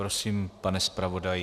Prosím, pane zpravodaji.